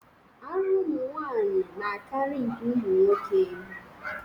Ara ụmụnwanyị na-akarị nke ụmụnwoke.